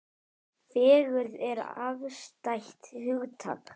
Fegurð er afstætt hugtak.